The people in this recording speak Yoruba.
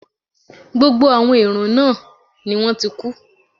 Gbogbo àwọn èèrùn náà ni wọ́n ti kú